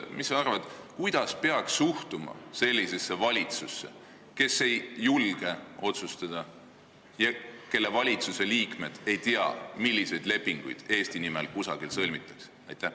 Mis sa arvad, kuidas peaks suhtuma sellisesse valitsusse, kes ei julge otsustada ja kelle liikmed ei tea, milliseid lepinguid Eesti nimel kusagil sõlmitakse?